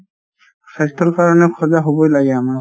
স্বাস্থ্যৰ কাৰনে সজাগ হবই লাগে আমাৰ |